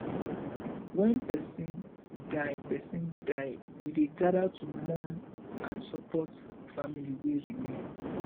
wen person die person die we dey gather to mourn and support family wey remain